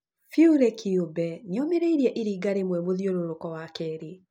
Fury kĩũmbe nĩomĩrĩirie Iringa rĩmwe mũthiũrũrũko wa kerĩ